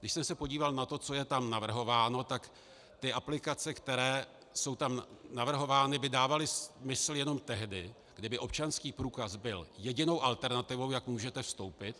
Když jsem se podíval na to, co je tam navrhováno, tak ty aplikace, které jsou tam navrhovány, by dávaly smysl jenom tehdy, kdyby občanský průkaz byl jedinou alternativou, jak můžete vstoupit.